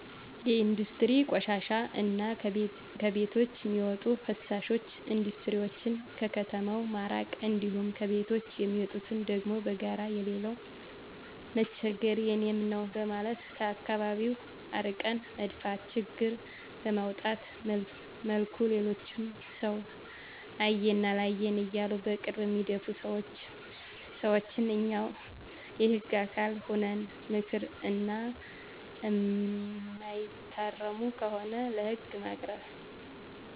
ከኢንዱስትሪ ቆሻሻ እና ከቤቶች ሚዎጡ ፍሳሾች ኢንዱስትሪዎችን ከከተማው ማራቅ እንዲሁም ከቤቶች የሚወጡትን ደግሞ በጋራ የሌላው መቸገር የኔም ነው በማለት ከአከባቢው አርቀን መድፋት ችግር በማያመጣ መልኩ ሌሎችም ሰው አየኝ አላየኝ እያሉ በቅርብ በሚደፉ ሰዎችን እኛው የህግ አካል ሁነን ምከር እና እማይታረሙ ከሆነ ለህግ ማቅረብ።